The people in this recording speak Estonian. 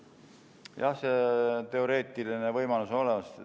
Jah, teoreetiline võimalus on olemas.